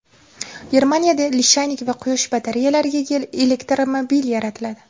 Germaniyada lishaynik va quyosh batareyalariga ega elektromobil yaratiladi.